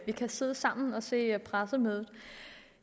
vi kan sidde sammen og se pressemødet